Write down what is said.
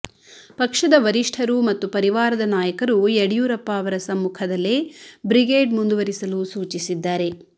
ಪಕ್ಷದ ವರಿಷ್ಠರು ಮತ್ತು ಪರಿವಾರದ ನಾಯಕರು ಯಡಿಯೂರಪ್ಪ ಅವರ ಸಮ್ಮುಖದಲ್ಲೇ ಬ್ರಿಗೇಡ್ ಮುಂದುವರಿಸಲು ಸೂಚಿಸಿದ್ದಾರೆ